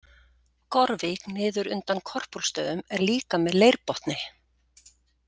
Gorvík niður undan Korpúlfsstöðum er líka með leirbotni.